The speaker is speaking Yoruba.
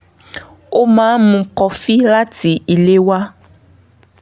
ó máa ń mú kọfí láti ilé wá